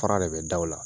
Fara de bɛ da o la